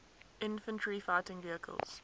infantry fighting vehicles